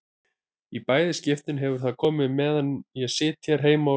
Í bæði skiptin hefur það komið meðan ég sit hér heima og skrifa.